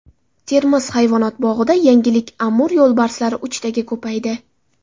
Termiz hayvonot bog‘ida yangilik Amur yo‘lbarslari uchtaga ko‘paydi.